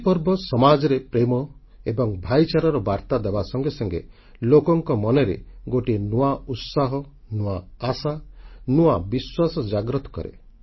ଏହି ପର୍ବ ସମାଜରେ ପ୍ରେମ ଏବଂ ଭ୍ରାତୃଭାବର ବାର୍ତ୍ତା ଦେବା ସଙ୍ଗେ ସଙ୍ଗେ ଲୋକଙ୍କ ମନରେ ଗୋଟିଏ ନୂଆ ଉତ୍ସାହ ନୂଆ ଆଶା ନୂଆ ବିଶ୍ୱାସ ଜାଗ୍ରତ କରେ